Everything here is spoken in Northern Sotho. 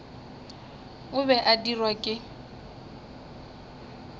o be a dirwa ke